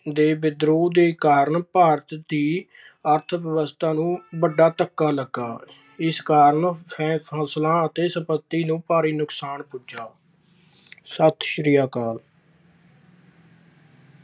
ਦੇ ਵਿਦਰੋਹ ਕਾਰਨ ਭਾਰਤ ਦੀ ਅਰਥਵਿਵਸਥਾ ਨੂੰ ਵੱਡਾ ਧੱਕਾ ਲੱਗਾ। ਇਸ ਨਾਲ ਫਸਲਾਂ ਅਤੇ ਸੰਪਤੀ ਨੂੰ ਭਾਰੀ ਨੁਕਸਾਨ ਪੁੱਜਾ। ਸਤਿ ਸ੍ਰੀ ਅਕਾਲ।